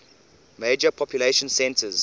major population centers